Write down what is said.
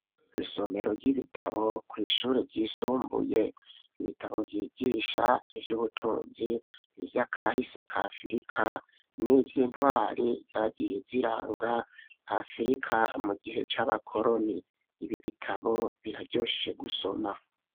Isomero ry'ibitabo kw' ishuri ry'isumbuye,, ibitabo byigisha iy'ubutunzi, ivyakahise kafrika ,n'ivy'intwari zagiye ziranga afrika mu gihe c'abakoroni, ibi bitabo biraryoshe gusoma.